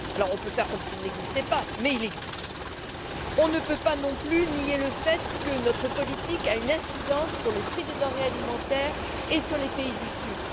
Nous pouvons faire comme s'il n'existait pas mais il existe. Nous ne pouvons pas non plus nier le fait que notre politique a une incidence sur les prix des denrées alimentaires et sur les pays du Sud.